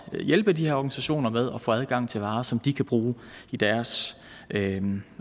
hjælpe de her organisationer med at få adgang til varer som de kan bruge i deres